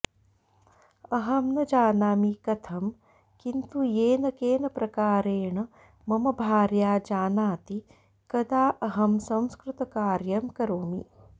अहं न जानामि कथं किन्तु येन केन प्रकारेण मम भार्या जानाति कदा अहं संस्कृतकार्यं करोमि